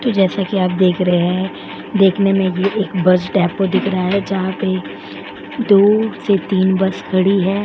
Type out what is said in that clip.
तो जैसा कि आप देख रहे हैं देखने में ये एक बस डेपो दिख रहा है जहां पे दो से तीन बस खड़ी है ।